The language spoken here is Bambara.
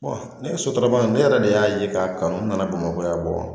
ne ye sotarama ne yɛrɛ de y'a ye k'a kanu nana bamakɔ yan